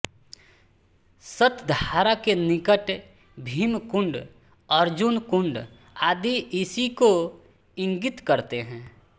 सत्धारा के निकट भीम कुण्ड अर्जुन कुण्ड आदि इसी को ईंगित करते हैं